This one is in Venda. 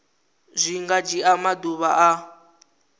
zwi nga dzhia maḓuvha a